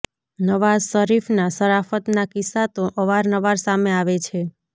નવાઝ શરીફના શરાફતના કિસ્સા તો અવાર નવાર સામે આવે છે